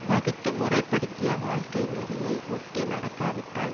வகுத்து முறைப்படுத்திய வாழ்க்கை நெறியை ஒட்டி நடக்கா விட்டால்